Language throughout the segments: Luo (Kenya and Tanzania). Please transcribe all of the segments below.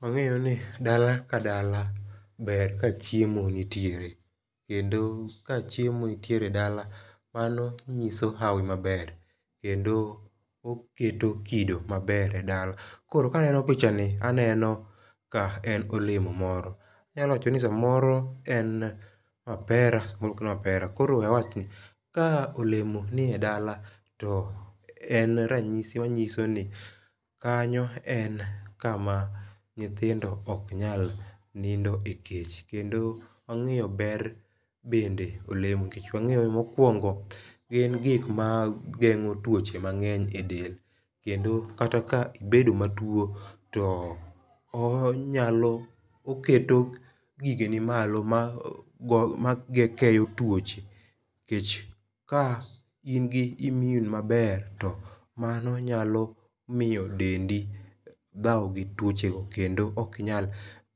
Wang'eyo ni dala ka dala ber ka chiemo nitiere kendo ka chiemo nitiere e dala mano ng'iso hawi ma ber kendo oketo kido maber e dala koro ka neno picha ni aneno ka en olemo moro anyalo wacho ni sa moro en mapera sa moro ok en mapera koro we awach ni ka olemo ni e dala to en rang'isi ong'iso ni kanyo en kama nyithindo ok nyal nindo e kech. Kendo ong'eyo ber bende olemo kech wang'eyo mokuongo gin gik ma geng'o twoche mang'eny e del kendo kata ka ibedo ma two ti onyalo oketo gige gi malo ma go ma keyo twoche, kech ka in gi immune ma ber to mano nyalo miyo dendi dhao gi twoche go kendo ok nyal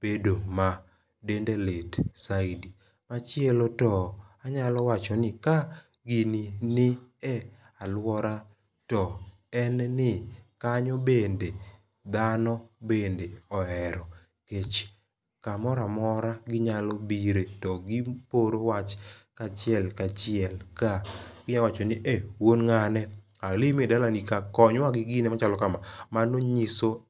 bedo ma dende lit saidi. Machielo to anyalo wacho ni ka gini ni e aluora to en ni kanyo bende dhano bende ohero kech saa moro amora gi nyalo bire to gi oro wach kachiel ka achiel to gi nyalo wacho ni wuon ng'ane, abiro e dalani kae konywa gi gine ma chalo ka ma, mano ng'iso.